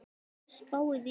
Spáið í það!